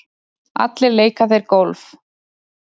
Allir leika þeir golf.